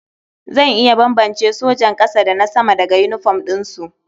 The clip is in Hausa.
Zan iya bambance sojan ƙasa da na sama daga yinifom ɗinsu.